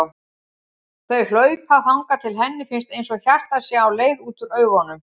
Þau hlaupa þangað til henni finnst einsog hjartað sé á leið út úr augunum.